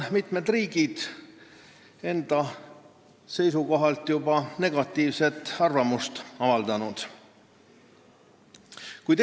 Mitmed riigid on juba avaldanud sel teemal negatiivset arvamust, pidades silmas muidugi oma sissemakseid.